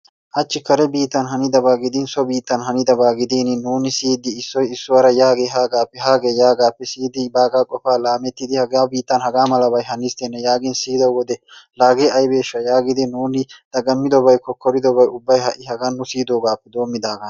Hachchi kare biittan hanidaba gidin so biittan hanidaba gidin nuuni siyidi issoy issuwara yaagee haagaappe haagee yaagaappe siyidi baagaa qofaa laammidi hagaa biittan hagaa malabay hanisttenne yaagin siyido wode laa hagee ayibeeshsha yaagi nuuni dagammidobay kokkoridobay ubbay ha'i hagan nu siyidoogaappe doommidaagaana.